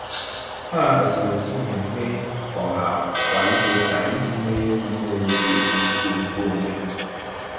Ha haziri otu mmemme ọha kwa izuụka iji nwe ike ịnwe oge ezumiike nke onwe.